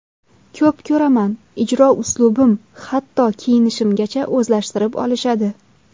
Ko‘p ko‘raman, ijro uslubim, hatto kiyinishimgacha o‘zlashtirib olishadi.